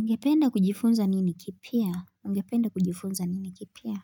Ungependa kujifunza nini kipya? Ungependa kujifunza nini kipya?